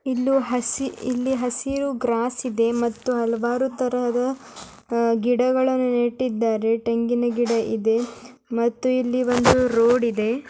ಇಲ್ಲಿ ಹಸು ಹಸಿರು ಗ್ರಾಸ್ ಇದೆ ಹಲವಾರು ತರದ ಗಿಡಗಳನ್ನು ನೆಟ್ಟಿದ್ದಾರೆ ತೆಂಗಿನ ಗಿಡಗಳಿಗೆ ಮತ್ತೆ ಒಂದು ರೋಡ್ ಇದೆ.